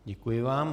Děkuji vám.